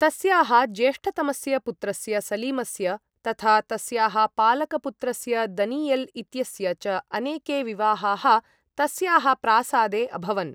तस्याः ज्येष्ठतमस्य पुत्रस्य सलीमस्य तथा तस्याः पालकपुत्रस्य दनीयल् इत्यस्य च अनेके विवाहाः तस्याः प्रासादे अभवन्।